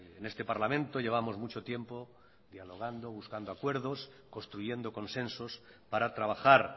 en este parlamento llevamos mucho tiempo dialogando buscando acuerdos construyendo consensos para trabajar